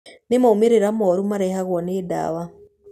Nĩ moimĩrĩro moru marehagwo nĩ ndawa.